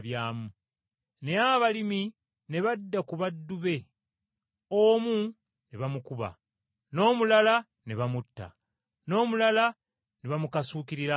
“Naye abalimi ne badda ku baddu be, omu ne bamukuba, n’omulala ne bamutta, n’omulala ne bamukasuukirira amayinja.